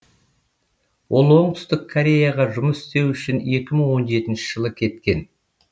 ол оңтүстік кореяға жұмыс істеу үшін екі мың он жетінші жылы кеткен